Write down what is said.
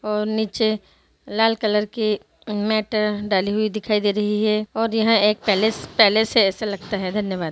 और नीचे लाल कलर की मैटर डाली हुई दिखाई दे रही है और यहाँ एक पहले-पहले से ऐसा लगता है धन्यवाद |